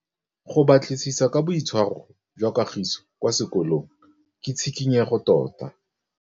Go batlisisa ka boitshwaro jwa Kagiso kwa sekolong ke tshikinyêgô tota.